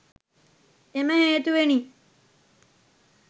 එම හේතුවෙනි.